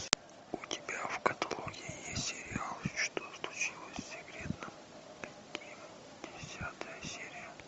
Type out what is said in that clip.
у тебя в каталоге есть сериал что случилось с секретарем ким десятая серия